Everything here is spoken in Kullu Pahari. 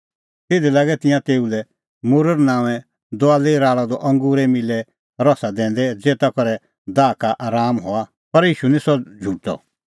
तिधी लागै तिंयां तेऊ लै मुर्र नांओंए दुआई राल़अ द अंगूरे मिल्लै रसा दैंदै ज़ेता करै दाह का राआम हआ पर ईशू निं सह झ़ुठअ